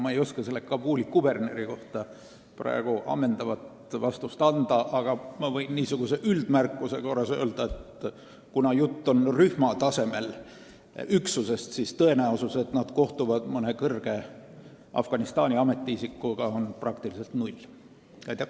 Ma ei oska selle Kabuli kuberneri kohta praegu ammendavat vastust anda, aga ma võin niisuguse üldmärkuse korras öelda, et kuna jutt on rühma tasemel üksusest, siis tõenäosus, et nad kohtuvad Afganistani mõne kõrge ametiisikuga, on peaaegu olematu.